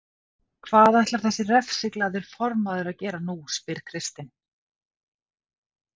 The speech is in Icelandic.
Hvað ætlar þessi refsiglaði formaður að gera nú? spyr Kristinn.